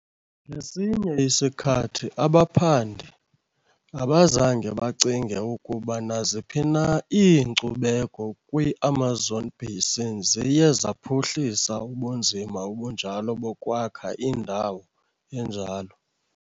Ngesinye isikhathi, abaphandi abazange bacinge ukuba naziphi na iinkcubeko kwi-Amazon Basin ziye zaphuhlisa ubunzima obunjalo bokwakha indawo enjalo.